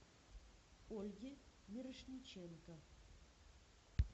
ольге мирошниченко